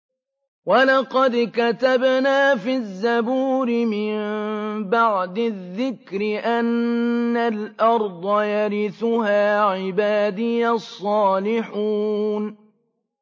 وَلَقَدْ كَتَبْنَا فِي الزَّبُورِ مِن بَعْدِ الذِّكْرِ أَنَّ الْأَرْضَ يَرِثُهَا عِبَادِيَ الصَّالِحُونَ